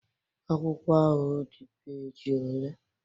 Akwụkwọ ahụ ọ dị peji ole?